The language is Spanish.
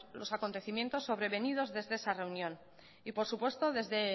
los acontecimientos sobrevenidos desde esa reunión y por supuesto desde